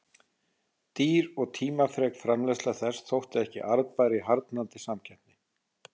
Dýr og tímafrek framleiðsla þess þótti ekki arðbær í harðnandi samkeppni.